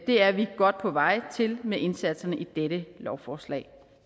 det er vi godt på vej til med indsatserne i dette lovforslag